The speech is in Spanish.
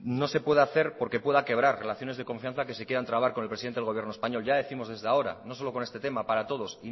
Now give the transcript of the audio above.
no se pueda hacer porque pueda quebrar relaciones de confianza que se quieran trabar con el presidente del gobierno español ya décimos desde ahora no solo con este tema para todos